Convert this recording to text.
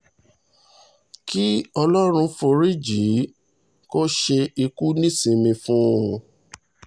kí ọlọ́run foríjì í kó ṣe ikú nísìnímí fún un